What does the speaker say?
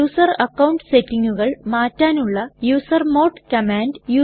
user account സെറ്റിങ്ങുകൾ മാറ്റാനുള്ള user mode command